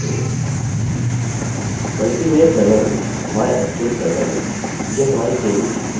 यह एक database interface php में लिखा गया प्रोग्राम है या दूसरे शब्दों में एक स्क्रिप्ट